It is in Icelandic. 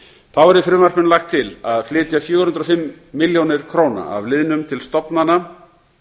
þá er í frumvarpinu lagt til að flytja fjögur hundruð og fimm milljónir króna af liðnum til stofnana